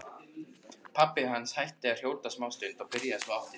Pabbi hans hætti að hrjóta smástund en byrjaði svo aftur.